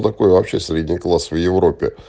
такой вообще средний класс в европе